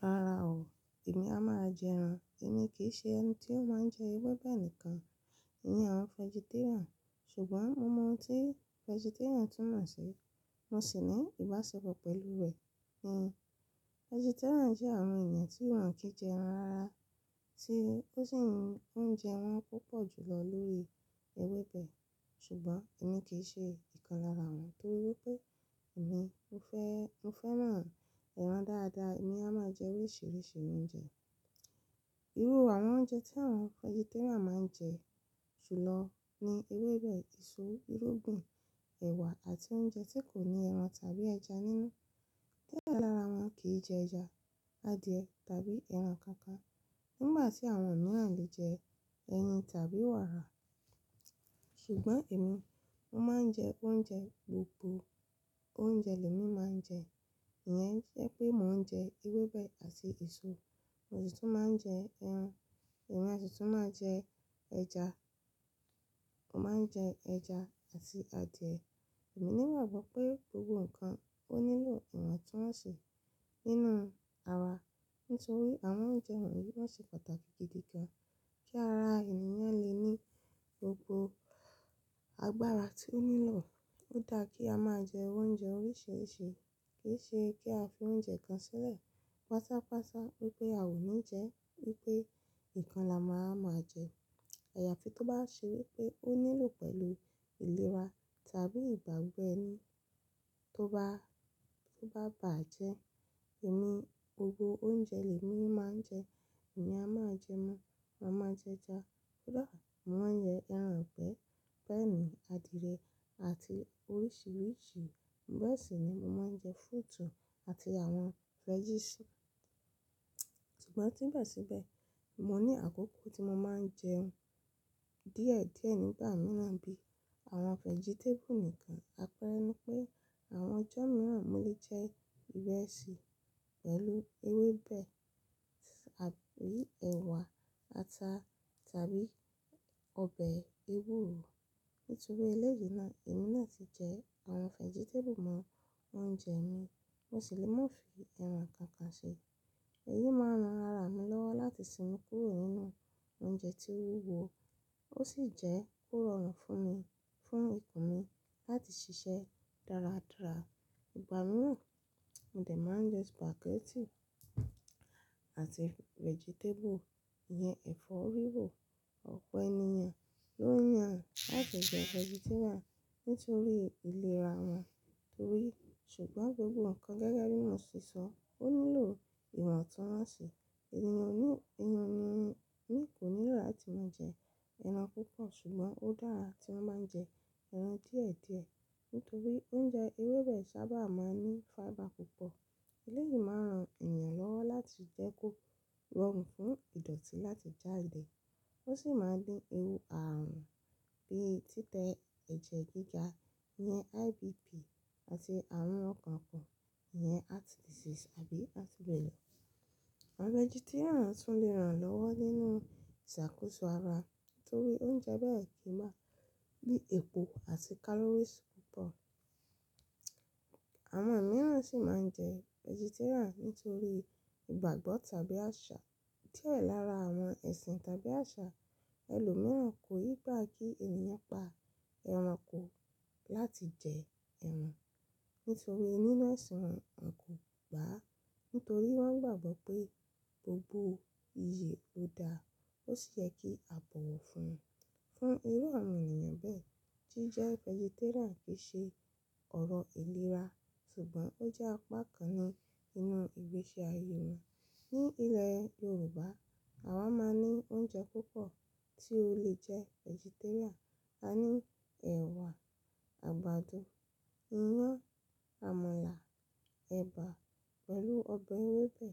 Rara o, èmi a máa jẹ ẹran. Èmi kì í ṣe ẹni tí ó máa ń jẹ ewébẹ̀ nìkan, ìyẹn àwọn vegetarian. Ṣùgbọ́n mo mọ ohun tí vegetarian tún mọ̀ sí, mo sì ní ìbáṣepọ̀ pẹ̀lú rẹ̀. Ì ni vegetarian jẹ́ àwọn ènìyàn tí wọ́n kì í jẹ ẹran rárá, tí ó sì ń jẹ oúnjẹ wọn púpọ̀ jùlọ lórí ewébẹ̀. Ṣùgbọ́n èmi kì í ṣe ìkan lára wọn nítorí pé èmi ń fẹ́, ń fẹ́ náà ẹran dáadáa, èmi a máa jẹ oríṣìíríṣìí oúnjẹ. Irú àwọn oúnjẹ tí àwọn vegetarian máa ń jẹ jùlọ ni ewébẹ̀, èso, irúgbìn, ẹ̀wà àti oúnjẹ tí kò ní ẹran tàbí ẹja nínú. Diẹ lára wọn kì í jẹ ẹja, adìẹ tàbí ẹran kankan nígbà tí àwọn mìíràn lè jẹ ẹyin tàbí wàrà. Ṣùgbọ́n èmi, mo máa ń jẹ oúnjẹ gbogbo oúnjẹ lè mi máa ń jẹ. Ìyẹn jẹ́ pé mò ń jẹ ewébẹ̀ àti èso, mo sì tún máa ń jẹ ẹran, èmi a sì tún máa jẹ ẹja. Mo máa ń jẹ ẹja àti adìẹ. Èmi ní ìrànwọ́ pé gbogbo nǹkan ó nílò ìwọ̀ntúnwọ̀nsì nínú ara. Nítorí àwọn oúnjẹ wọ̀nyí wọ́n ṣe pàtàkì gidi gan, kí ara ènìyàn lè ní gbogbo agbára tí ó nílò. Ó dára kí a máa jẹ oúnjẹ oríṣìíríṣìí, kì í ṣe kí a fi oúnjẹ kan sílẹ̀ pásápásà wípé a ò ní jẹ, wípé ìkan la máa máa jẹ. Àyàfi tó bá ṣe wípé ó nílò pẹ̀lú ìlera tàbí ìgbàgbọ́ ẹni tó bá, tó bá bà jẹ́. Ẹ̀mí gbogbo oúnjẹ lè mi máa ń jẹ. Èmi a máa jẹ ẹran, màá jẹ ẹja. Kódà, mò ń jẹ ẹran ìgbẹ́, hen, adìẹ àti oríṣìíríṣìí bẹ́ẹ̀ sì ni mo máa ń jẹ, fúrútù àti àwọn veggies. Ṣùgbọ́n síbẹ̀ síbẹ̀, mo ní àkókò tí mo máa ń jẹ oúnjẹ díẹ̀díẹ̀ nígbà mìíràn bí i àwọn vegetable nìkan. Àpẹẹrẹ ni pé àwọn ọjọ́ mìíràn mò lè jẹ irẹ́ṣì pẹ̀lú ewébẹ̀ tàbí ẹ̀wà, ata tàbí ọbẹ̀ ewúro. Nítorí eléyìí náà, èmi náà ti jẹ àwọn vegetable mọ́ oúnjẹ mi, mo sì lè mú un fi ẹran kankan ṣe. Èyí máa ran ara mi lọ́wọ́ láti sinmi kúrò nínú oúnjẹ tí ń wúwo, ó sì jẹ́ kó rọrùn fún mi, fún okùn mi láti ṣiṣẹ́ dáradára. Ìgbà mìíràn, ńdẹ̀ máa ń jẹ spaghetti àti vegetable. Ìyẹn ẹ̀fọ́ rírò ọ̀pọ̀ ènìyàn ló yàn láti jẹ́ vegetarian nítorí ìlera wọn, torí-- ṣùgbọ́n gbogbo nǹkan gẹ́gẹ́ bí mo ti sísọ, ó nílò ìwọ̀ntúnwọ̀nsì. Ènìyàn ní, ènìyàn ní, ní kò níra láti máa jẹ ẹran púpọ̀. Ṣùgbọ́n ó dára tí wọ́n máa ń jẹ ẹran díẹ̀díẹ̀ nítorí oúnjẹ ewébẹ̀ sábà máa ń ní fiber púpọ̀. Eléyìí máa ran ènìyàn lọ́wọ́ láti jẹ́ kó rọrùn fún ìdọ̀tí láti jáde. Ó sì máa ń dín ewu ààrùn bíi títẹ́ ẹ̀jẹ̀ gíga yẹn IBP àti àìrún ọkàn kàn yẹn heart disease àbí heart failure. Àwọn vegetarian tún lè ràn lọ́wọ́ nínú ìṣàkóso ara torí oúnjẹ bẹ́ẹ̀ kí í má bí epo àti calories púpọ̀. Àwọn mìíràn sì máa ń jẹ vegetarian nítorí ìgbàgbọ́ tàbí àṣà. Diẹ lára àwọn ẹ̀sìn tàbí àṣà ẹlòmíràn kò yí bá kí ènìyàn pa ẹranko láti jẹ ẹran. Nítorí nínú ẹ̀sìn wọn, wọn kò gbà á, nítorí wọ́n gbàgbọ́ pé gbogbo iye ló dára. Ó sì yẹ kí a bọ̀wọ̀ fún un. Fún irú àwọn ènìyàn bẹ́ẹ̀ tí jẹ́ vegetarian kì í ṣe ọ̀rọ̀ ìlera, ṣùgbọ́n ó jẹ́ apá kan ní inú ìgbésí ayé wọn. Ní ilẹ̀ Yorùbá, àwa máa ń ní oúnjẹ púpọ̀ tí o lè jẹ́ vegetarian. A ní ẹ̀wà, àgbàdo, iyán, àmàlà, ẹ̀bà pẹ̀lú ọbẹ̀ ewébẹ̀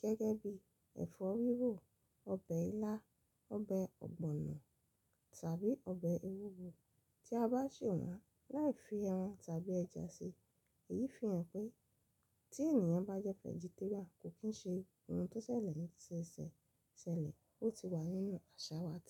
gẹ́gẹ́ bí ẹ̀fọ́ rírò, ọbẹ̀ ilá, ọbẹ̀ ọ̀gbọ̀nọ̀ tàbí ọbẹ̀ ewúro tí a bá sè wọ́n láì fi ẹran tàbí ẹja sí i. Èyí fi hàn pé tí ènìyàn bá jẹ́ vegetarian kò kí ń ṣe ohun tó ṣẹlẹ̀ níṣẹ́ṣẹ́ ṣẹlẹ̀, ó ti wà nínú àṣà wa tẹ́lẹ̀